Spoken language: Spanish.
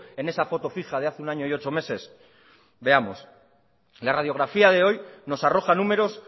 en esa foto fija de hace un año y ocho meses veamos la radiografía de hoy nos arroja números